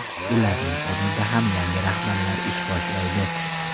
Ularning o‘rnida ham yangi rahbarlar ish boshlaydi.